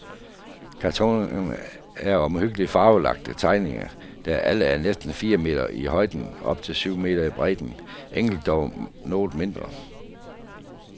Kartonerne er omhyggeligt farvelagte tegninger, der alle er næsten fire meter i højden og op til syv meter i bredden, enkelte dog noget mindre.